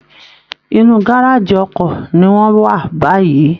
Inú gáràjì ọkọ̀ ni wọ́n wà báyìí